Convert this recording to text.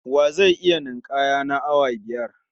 Wa zai iya ninƙaya na awa biyar?